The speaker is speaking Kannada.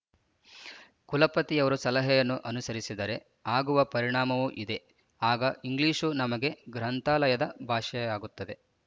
ಕುಲಪತಿಯವರ ಸಲಹೆಯನ್ನು ಅನುಸರಿಸಿದರೆ ಆಗುವ ಪರಿಣಾಮವೂ ಇದೆ ಆಗ ಇಂಗ್ಲೀಷು ನಮಗೆ ಗ್ರಂಥಾಲಯದ ಭಾಷೆಯಾಗುತ್ತದೆ